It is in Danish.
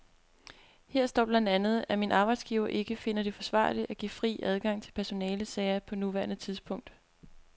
Her står blandt andet, at min arbejdsgiver ikke finder det forsvarligt at give fri adgang til personalesager på nuværende tidspunkt.